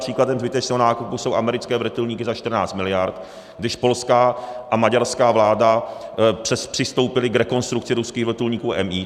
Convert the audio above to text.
Příkladem zbytečného nákupu jsou americké vrtulníky za 14 miliard, když polská a maďarská vláda přistoupily k rekonstrukci ruských vrtulníků Mi.